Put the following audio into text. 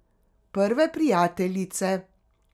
Prve prijateljice.